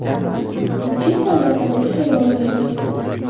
Bu chet davlatlarda juda rivojlangan.